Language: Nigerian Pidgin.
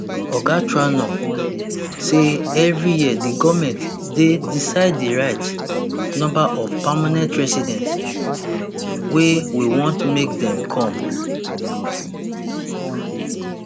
oga trudeau say evri year di goment dey decide di right number of permanent residents wey we want make dem come